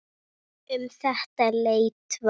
Um þetta leyti var